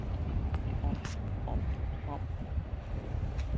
om om om